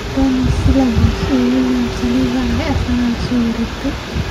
Dani Ceballos iyo William Saliba ayay Arsenal la soo wareegtay